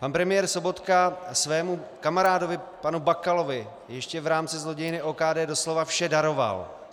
Pan premiér Sobotka svému kamarádovi panu Bakalovi ještě v rámci zlodějny OKD doslova vše daroval.